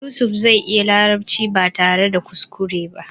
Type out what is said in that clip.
Yusuf zai iya larabci ba tare da kuskure ba.